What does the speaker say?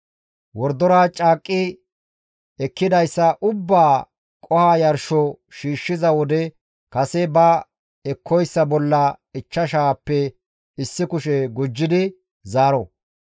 Wordora caaqqi ekkidayssa ubbaa qoho yarsho shiishshiza wode kase ba ekkoyssa bolla ichchashaappe issi kushe gujjidi zaaro.